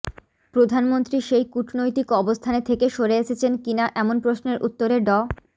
প্রধানমন্ত্রী সেই কূটনৈতিক অবস্থানে থেকে সরে এসেছেন কিনা এমন প্রশ্নের উত্তরে ড